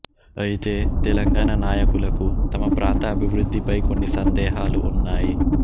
అయితే తెలంగాణా నాయకులకు తమ ప్రాంత అభివృద్ధిపై కొన్ని సందేహాలు ఉన్నాయి